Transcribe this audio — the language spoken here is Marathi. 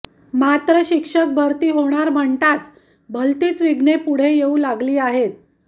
मात्र शिक्षक भरती होणार म्हणताच भलतीच विघ्ने पुढे येऊ लागली आहेत